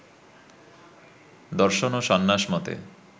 দর্শন ও সন্ন্যাস মতে